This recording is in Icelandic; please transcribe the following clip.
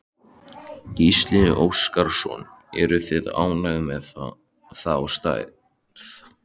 Gísli Óskarsson: Eruð þið ánægðir með þá stærð?